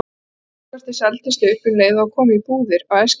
Póstkortið seldist upp um leið og það kom í búðir á Eskifirði.